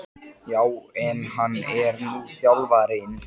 Já en. hann er nú þjálfarinn!